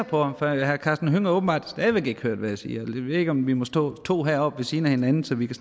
på ham for herre karsten hønge har åbenbart stadig væk ikke hørt hvad jeg siger ved ikke om vi må stå to her oppe ved siden af hinanden så vi kan